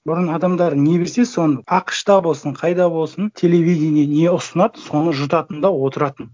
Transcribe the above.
бұрын адамдар не берсе соны ақш та болсын қайда болсын телевидение не ұсынады соны жұтатын да отыратын